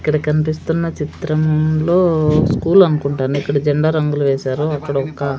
ఇక్కడ కన్పిస్తున్న చిత్రంలో స్కూల్ అన్కుంటాను ఇక్కడ జెండా రంగులు వేసారు అక్కడొక--